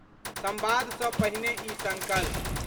संवाद सँ पहिने ई संकल्प.....